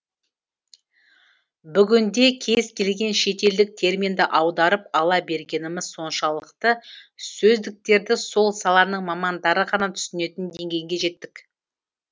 бүгінде кез келген шетелдік терминді аударып ала бергеніміз соншалықты сөздіктерді сол саланың мамандары ғана түсінетін деңгейге жеттік